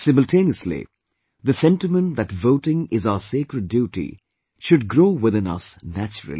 Simultaneously, the sentiment that voting is our sacred duty, should grow within us naturally